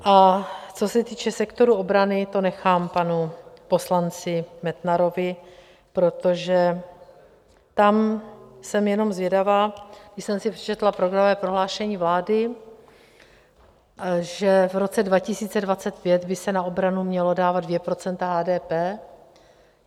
A co se týče sektoru obrany, to nechám panu poslanci Metnarovi, protože tam jsem jenom zvědavá, když jsem si přečetla programové prohlášení vlády, že v roce 2025 by se na obranu měla dávat 2 % HDP.